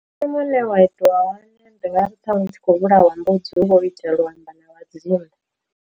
Nṋe muṋe wa itiwa hone ndi nga ri thanwe u tshi khou vhulawa mbudzi hu vha ho itea lu amba na vha dzimu.